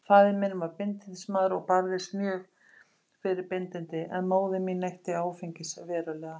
Faðir minn var bindindismaður og barðist mjög fyrir bindindi, en móðir mín neytti áfengis verulega.